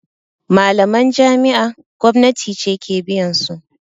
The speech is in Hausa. Malaman jami'a gwamnati ce ke biyansu